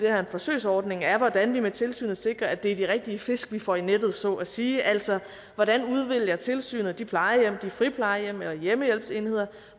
er en forsøgsordning er hvordan vi med tilsynet sikrer at det er de rigtige fisk vi får i nettet så at sige altså hvordan tilsynet udvælger de plejehjem friplejehjem eller hjemmehjælpsenheder